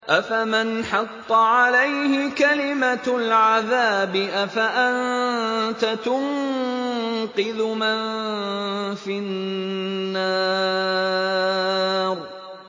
أَفَمَنْ حَقَّ عَلَيْهِ كَلِمَةُ الْعَذَابِ أَفَأَنتَ تُنقِذُ مَن فِي النَّارِ